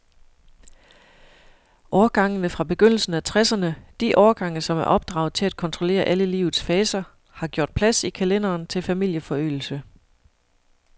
Årgangene fra begyndelsen af tresserne, de årgange, som er opdraget til at kontrollere alle livets faser, har gjort plads i kalenderen til familieforøgelse.